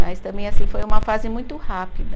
Mas também, assim, foi uma fase muito rápida.